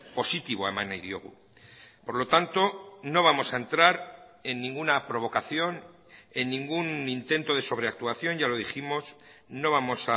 positiboa eman nahi diogu por lo tanto no vamos a entrar en ninguna provocación en ningún intento de sobreactuación ya lo dijimos no vamos